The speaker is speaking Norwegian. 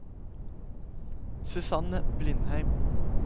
Susanne Blindheim